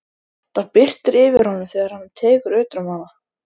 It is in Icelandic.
Það birtir yfir honum þegar hann tekur utan um hana.